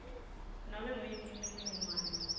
nobe nguyiphi imininingwane